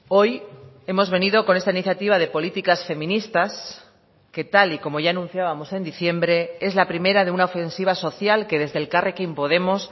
hoy hemos venido con esta iniciativa de políticas feministas que tal y como ya anunciábamos en diciembre es la primera de una ofensiva social que desde elkarrekin podemos